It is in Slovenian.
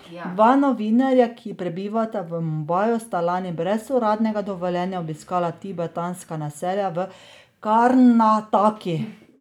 Dva novinarja, ki prebivata v Mumbaju, sta lani brez uradnega dovoljenja obiskala tibetanska naselja v Karnataki.